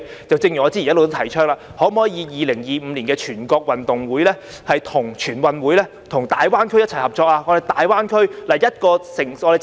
正如我早已提倡 ，2025 年的全國運動會，可否與大灣區其他城市合作呢？